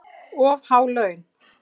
Of há laun